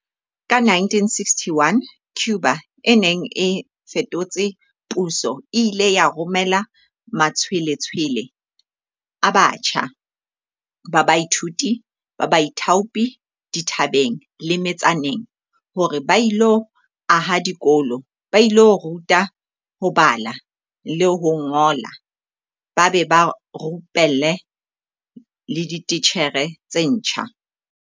Ka 1961, Cuba e neng e fetotse puso e ile ya romela matshwe-letshwele a batjha ba baithuti ba baithaopi dithabeng le me-tsaneng hore ba ilo aha dikolo, ba ilo ruta ho bala le ho ngola ba be ba rupelle le dititjhere tse ntjha.